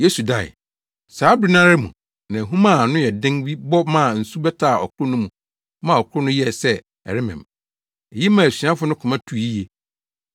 Yesu dae. Saa bere no ara mu na ahum a ano yɛ den bi bɔ maa nsu bɛtaa ɔkorow no mu maa ɔkorow no yɛɛ sɛ ɛremem. Eyi maa asuafo no koma tuu yiye.